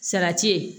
Salati ye